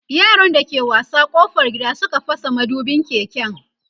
yaran da ke wasa ƙofar gida Suka fasa madubin keken